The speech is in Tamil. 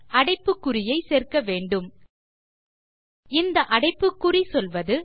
அடைப்பு குறியை சேர்க்க வேண்டும் இந்த அடைப்புக் குறி சொல்வது